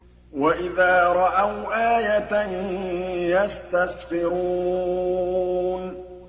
وَإِذَا رَأَوْا آيَةً يَسْتَسْخِرُونَ